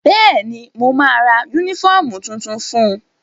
Bẹ́ẹ̀ni, mo ma ra yúnífọ̀mù tuntun fun